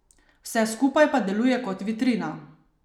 Vse skupaj pa deluje kot vitrina.